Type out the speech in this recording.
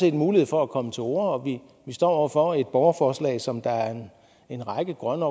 en mulighed for at komme til orde og vi står over for et borgerforslag som en række grønne